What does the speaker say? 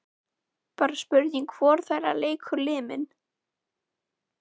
Bara spurning hvor þeirra leikur liminn.